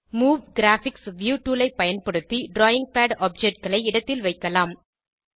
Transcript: move graphics view tool ஐ பயன்படுத்தி drawing pad objectகளை இடத்தில் வைக்கலாம்